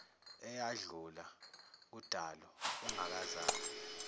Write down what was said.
eyadlula kudalo ungakazalwa